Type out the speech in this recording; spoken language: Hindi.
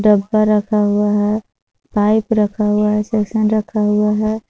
डब्बा रखा हुआ है पाइप रखा हुआ है रखा हुआ है।